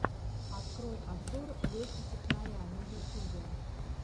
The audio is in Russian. открой обзор лехи технаря на ютюбе